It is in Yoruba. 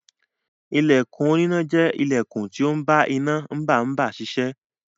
Ilẹkùn oníná jẹ́ ilẹkùn tó ń bá iná mbà mbá ṣiṣẹ́.